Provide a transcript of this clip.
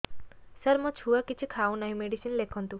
ସାର ମୋ ଛୁଆ କିଛି ଖାଉ ନାହିଁ ମେଡିସିନ ଲେଖନ୍ତୁ